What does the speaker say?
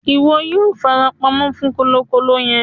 Ìwo yio fara pamó fún kòlòkòlò yen